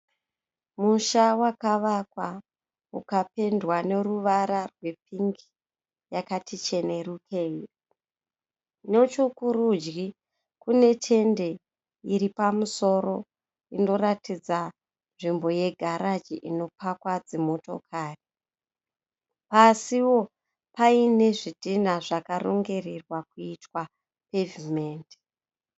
Musha wakavakwa ukapendwa neruvara rwepingi yakati chenerukirei. Nechekurudyi kune tende iri pamusoro inoratidza nzvimbo yegaraji inopakwa dzimotikari. Pasiwo paine zvidhina zvakarongererwa kuitwa pevhimendi.